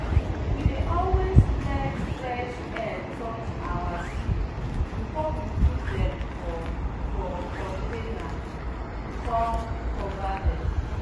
we dey always let fresh air touch our seed before we put dem for for container com cover dem.